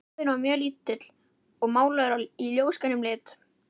Klefinn var mjög lítill og málaður í ljósgrænum lit.